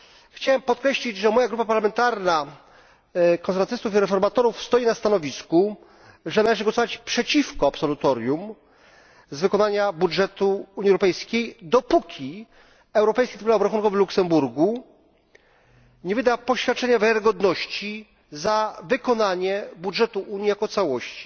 Chciałem podkreślić, że moja grupa parlamentarna Konserwatystów i Reformatorów stoi na stanowisku, że należy głosować przeciwko absolutorium z wykonania budżetu Unii Europejskiej, dopóki Europejski Trybunał Obrachunkowy w Luksemburgu nie wyda poświadczenia wiarygodności za wykonanie budżetu Unii jako całości.